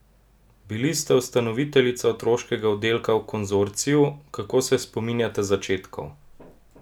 Bili ste ustanoviteljica otroškega oddelka v Konzorciju, kako se spominjate začetkov?